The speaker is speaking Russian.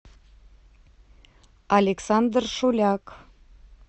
александр шуляк